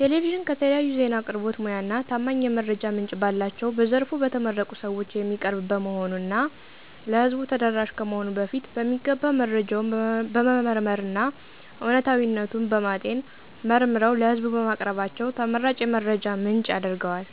ቴሌቪዥን ከተለያዩ ዜና አቅርቦት ሙያ እና ታማኝ የመረጃ ምንጭ ባላቸው በዘርፉ በተመረቁ ሰወች የሚቀርብ በመሆኑ እና ለህዝቡ ተደራሽ ከመሆኑ በፊት በሚገባ መረጃውን በመመርመር እና እውነታዊነቱን በማጤን መርምረው ለህዝቡ በማቅረባቸው ተመራጭ የመረጃ ምንጭ ያረገዋል።